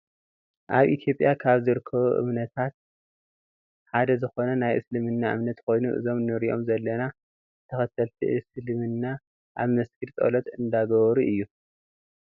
ኣብ ኢትዮጵያ ካብ ዝርከቡ እምነታት ሓደ ዝኮነ ናይ እስልምና እምነት ኮይኑ እዞም ንርእዮም ዘለና ተከተልቲ እስልምና ኣብ መስጊድ ፆሎት እንዳገበሩ እዩ።